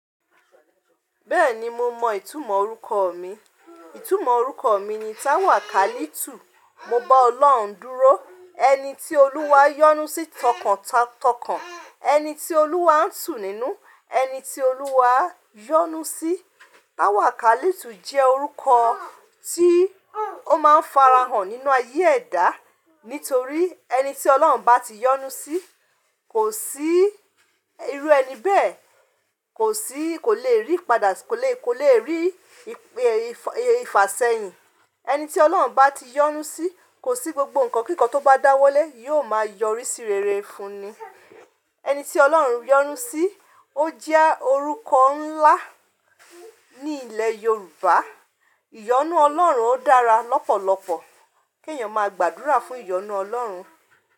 Bẹ́ẹ̀ni mo mọ ìtumọ̀ orúkọ mi. Ìtumọ̀ orúkọ mi ni táwàkalítù. Mo bá Ọlọ́run dúró, ẹni tí Olúwa yọ́nu sí tọkàntakọ̀n, ẹni tí Olúwa ń tún sínú, ẹni tí Olúwa yọ́nu sí. Táwàkalítù jẹ́ orúkọ tí ó máa ń farahàn nínú ayé ẹ̀dá nítorí ẹni tí Ọlọ́run bá ti yọ́nu sí kò sí irú ẹni bẹ́ẹ̀ kò sí, kò le rí padà kò le, kò le rí ìfàsẹ́yìn. Ẹni tí Ọlọ́run bá ti yọ́nu sí kò sí gbogbo nǹkan kíkan tó bá dáwọ́lé yóò máa yọrí sí rere fún ni. Ẹni tí Ọlọ́run yọ́nu sí ó jẹ́ orúkọ ńlá ní ilẹ̀ Yorùbá. Iyọ́nu Ọlọ́run ó dára lọ́pọ̀lọpọ̀ kí èèyàn máa gbàdúrà fún iyọ́nu Ọlọ́run.